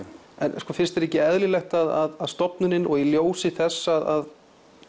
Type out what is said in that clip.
en finnst þér ekki eðlilegt að stofnunin og í ljósi þess að